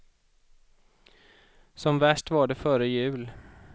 Som värst var det före jul.